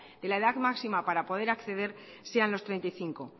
de la edad máxima para poder acceder sean los treinta y cinco